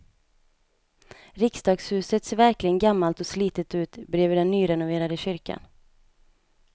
Riksdagshuset ser verkligen gammalt och slitet ut bredvid den nyrenoverade kyrkan.